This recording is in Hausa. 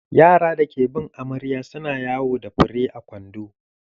Yara da ke bin amarya su na yawo da fure a kwando.